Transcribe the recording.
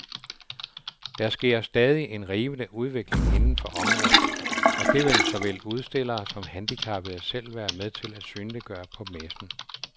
Der sker stadig en rivende udvikling inden for området, og det vil såvel udstillere som handicappede selv være med til at synliggøre på messen.